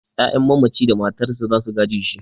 'Ya'yan mamaci da matarsa za su gaje shi.